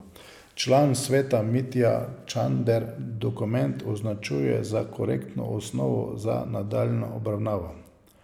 Član sveta Mitja Čander dokument označuje za korektno osnovo za nadaljnjo obravnavo.